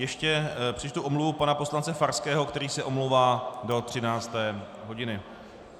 Ještě přečtu omluvu pana poslance Farského, který se omlouvá do 13. hodiny.